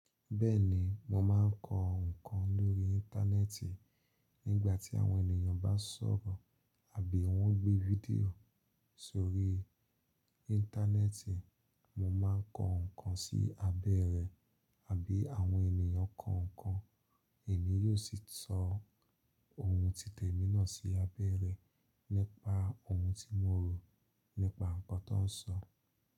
Bẹ́ẹ̀ni, mo máa ń kọ nǹkan lórí íńtánẹ́ẹ́ǹtì. Nígbà tí àwọn ènìyàn bá sọ̀rọ̀ àbí wọ́n gbé fídíò sórí íńtánẹ́ẹ́ǹtì, mo máa ń kọ nǹkan sí abẹ́ rẹ̀ àbí àwọn ènìyàn kọkan. Èmi yóò sì sọ ohun tí temí náà sí abẹ́ rẹ̀ nípa ohun tí mo rò nípa nǹkan tọń sọ.